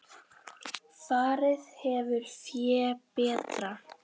Farið hefur fé betra.